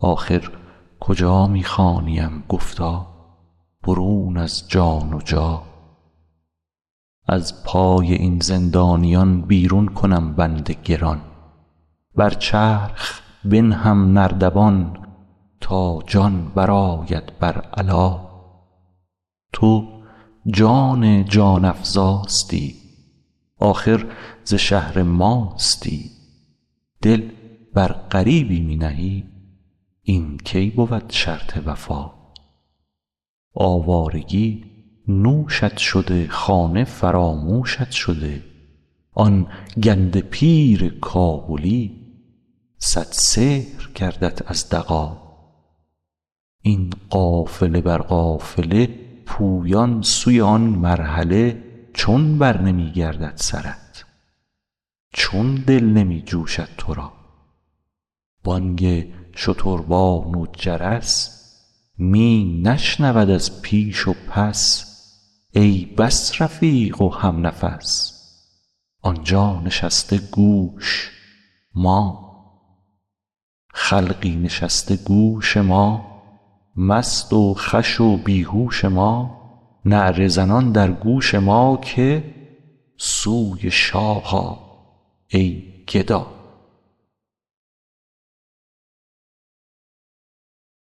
آخر کجا می خوانیم گفتا برون از جان و جا از پای این زندانیان بیرون کنم بند گران بر چرخ بنهم نردبان تا جان برآید بر علا تو جان جان افزاستی آخر ز شهر ماستی دل بر غریبی می نهی این کی بود شرط وفا آوارگی نوشت شده خانه فراموشت شده آن گنده پیر کابلی صد سحر کردت از دغا این قافله بر قافله پویان سوی آن مرحله چون برنمی گردد سرت چون دل نمی جوشد تو را بانگ شتربان و جرس می نشنود از پیش و پس ای بس رفیق و همنفس آن جا نشسته گوش ما خلقی نشسته گوش ما مست و خوش و بی هوش ما نعره زنان در گوش ما که سوی شاه آ ای گدا